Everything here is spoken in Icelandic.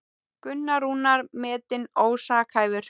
Gunnar Rúnar metinn ósakhæfur